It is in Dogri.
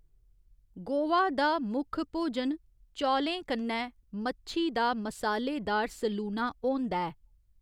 गोवा दा मुक्ख भोजन चौलें कन्नै मच्छी दा मसालेदार सलूना होंदा ऐ।